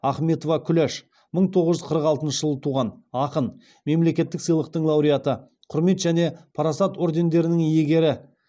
ахметова күләш мың тоғыз жүз қырық алтыншы жылы туған ақын мемлекеттік сыйлықтың лауреаты құрмет және парасат ордендерінің иегері